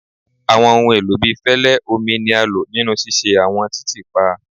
Awọn ohun elo bii fẹlẹ, omi ni a lo ninu ṣiṣe awọn titiipa